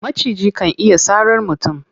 Maciji kan iya sarar mutum.